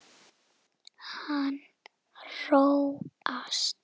Hann róast.